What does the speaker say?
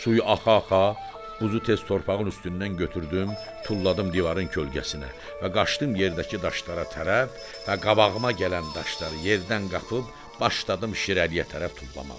Suyu axa-axa buzu tez torpağın üstündən götürdüm, tulladım divarın kölgəsinə və qaçdım yerdəki daşlara tərəf və qabağıma gələn daşları yerdən qapıb başladım şirəliyə tərəf tullamağa.